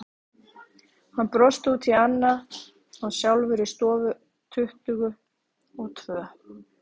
Hann brosti út í annað, var sjálfur í stofu tuttugu og tvö.